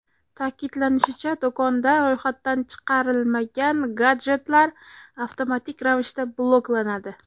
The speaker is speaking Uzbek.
Ta’kidlanishicha, do‘konda ro‘yxatdan chiqarilmagan gadjetlar avtomatik ravishda bloklanadi.